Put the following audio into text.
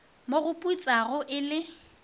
mo go putsago e le